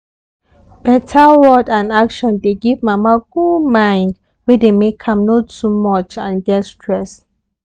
beta word and action dey give mama good mind wey dey make am no too much and get stress